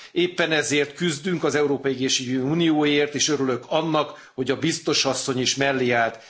Éppen ezért küzdünk az európai egészségügyi unióért, és örülök annak, hogy a biztos asszony is mellé állt.